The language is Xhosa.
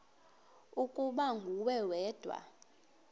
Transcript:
ukuba nguwe wedwa